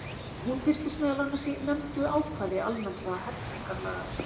Hún birtist meðal annars í nefndu ákvæði almennra hegningarlaga.